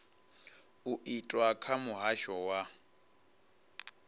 u itwa kha muhasho wa